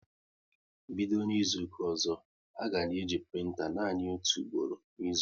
Bido N'izuka ọzọ, a ga na-eji printa nanị otu ugboro n'izu!